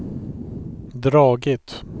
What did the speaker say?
dragit